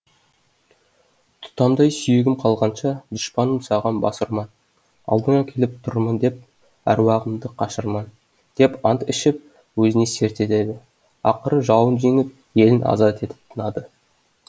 тұтамдай сүйегім қалғанша дұшпаным саған бас ұрман алдыңа келіп тұрмын деп әруағымды қашырман деп ант ішіп өзіне серт етеді ақыры жауын жеңіп елін азат етіп тынады